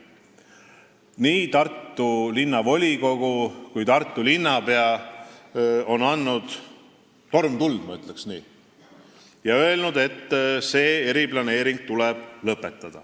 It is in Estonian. Nii Tartu Linnavolikogu kui ka Tartu linnapea on andnud turmtuld, ma ütleks nii, ja öelnud, et see eriplaneering tuleb lõpetada.